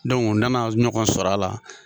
u nana ɲɔgɔn sɔr'a la